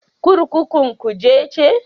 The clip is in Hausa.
Kurkukun Kuje ce.